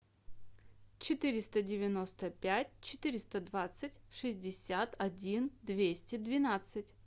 четыреста девяносто пять четыреста двадцать шестьдесят один двести двенадцать